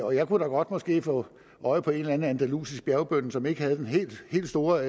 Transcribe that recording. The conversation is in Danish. og jeg kunne da godt måske få øje på en eller anden andalusisk bjergbonde som ikke har den helt store